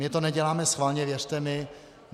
My to neděláme schválně, věřte mi.